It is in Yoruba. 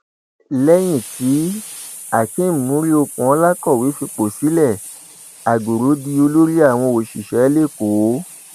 lẹyìn tíhakeem muriokunola kọwé fipò sílẹ àgọrọ di olórí àwọn òṣìṣẹ lẹkọọ